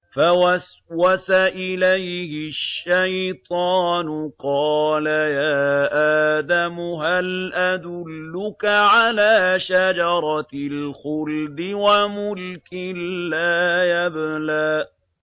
فَوَسْوَسَ إِلَيْهِ الشَّيْطَانُ قَالَ يَا آدَمُ هَلْ أَدُلُّكَ عَلَىٰ شَجَرَةِ الْخُلْدِ وَمُلْكٍ لَّا يَبْلَىٰ